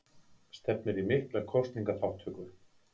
Stefnir í mikla kosningaþátttöku